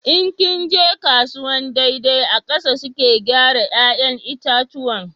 In ki ka je kasuwan daidai a ƙasa suke gyara 'ya'yan itatuwan